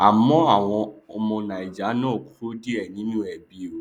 àmọ àwọn ọmọ naija náà kó díẹ nínú ẹbi o